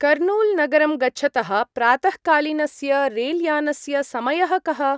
कर्नूल्-नगरं गच्छतः प्रातःकालीनस्य रेल्यानस्य समयः कः?